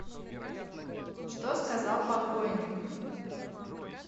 что сказал покойник